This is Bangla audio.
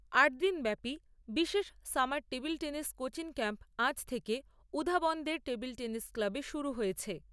আটদিনব্যাপী বিশেষ summer table tennis coaching camp আজ থেকে উধাবন্দের টেবিল টেনিস ক্লাবে শুরু হয়েছে।